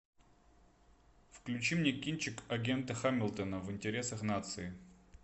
включи мне кинчик агента хамилтона в интересах нации